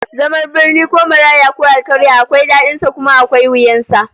Zaman birni ko maraya ko alkarya akwai dadin sa kuma akwai wuyan sa